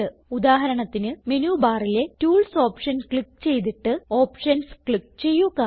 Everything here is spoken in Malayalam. ഉദാഹരണത്തിന് മെനു ബാറിലെ ടൂൾസ് ഓപ്ഷൻ ക്ലിക്ക് ചെയ്തിട്ട് ഓപ്ഷൻസ് ക്ലിക്ക് ചെയ്യുക